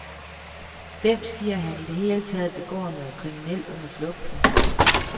Hvem siger, at han i det hele taget begår noget kriminelt under flugten.